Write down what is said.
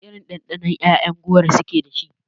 Wana irin ɗanɗano ƴaƴan goro su ke dashi?